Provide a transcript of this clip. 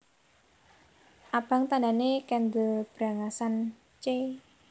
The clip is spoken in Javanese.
Abang tandhane kendel brangasan c